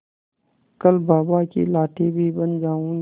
कल बाबा की लाठी भी बन जाऊंगी